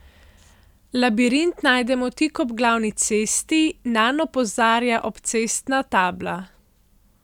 Labirint najdemo tik ob glavni cesti, nanj opozarja obcestna tabla.